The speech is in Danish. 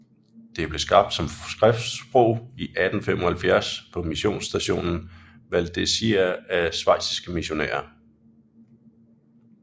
Det blev skabt som skriftsprog i 1875 på missionsstationen Valdezia af schweiziske missionærer